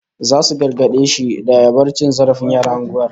Zasu gargade shi da ya bar cin zarafin yaran unguwar